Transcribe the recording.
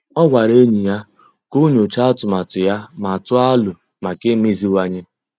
Ọ́ gwàrà ényì ya kà o nyòcháá atụmatụ ya ma tụ́ọ́ alo maka imeziwanye.